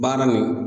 Baara nin